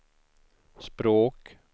språk